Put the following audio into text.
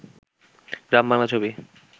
গ্রাম বাংলার ছবি